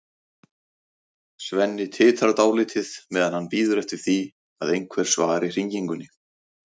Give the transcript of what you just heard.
Svenni titrar dálítið meðan hann bíður eftir því að einhver svari hringingunni.